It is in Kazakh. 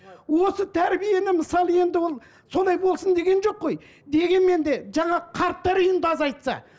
осы тәрбиені мысалы енді ол солай болсын деген жоқ қой дегенмен де жаңағы қарттар үйін де азайтса